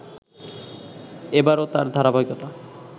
এবারো তার ধারাবাহিকতা